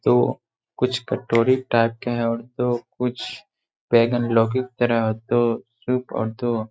दो कुछ कटोरी टाइप के है और दो कुछ बैंगन लौकी की तरह और दो और दो --